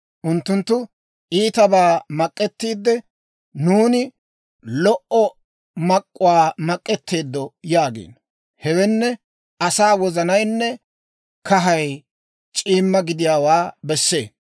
Unttunttu iitabaa mak'ettiidde, «Nuuni lo"o mak'k'uwaa mak'etteeddo» yaagiino. Hewenne, asaw wozanaynne kahay c'iimma gidiyaawaa bessee.